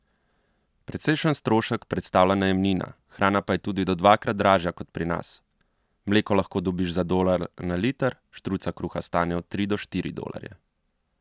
Precejšen strošek predstavlja najemnina, hrana pa je tudi do dvakrat dražja kot pri nas: 'Mleko lahko dobiš za dolar na liter, štruca kruha stane od tri do štiri dolarje.